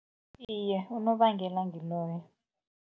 Iye, unobangela ngiloyo.